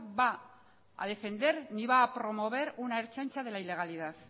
va a defender ni va a promover una ertzaintza de la ilegalidad